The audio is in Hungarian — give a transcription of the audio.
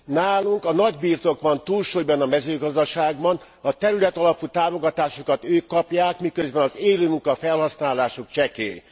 Nálunk a nagybirtok van túlsúlyban a mezőgazdaságban, a területalapú támogatásokat ők kapják, miközben az élőmunka felhasználásuk csekély.